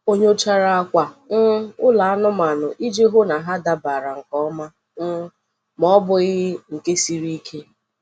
O nyochara akwa um olu anụmanụ iji hụ na ọ dabara nke ọma um ma ọ bụghị nke siri ike.